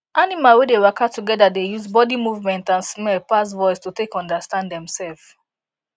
animal wey dey waka together dey use body movement and smell pass voice to take understand dem sef